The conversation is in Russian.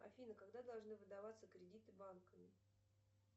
афина когда должны выдаваться кредиты банками